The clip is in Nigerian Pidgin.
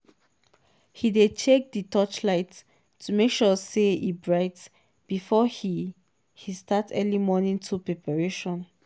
he dey check di torchlight to make sure say e bright before he he start early morning tool preparation.